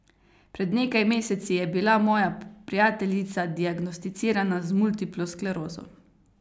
Pred nekaj meseci je bila moja prijateljica diagnosticirana z multiplo sklerozo.